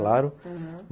Claro, aham.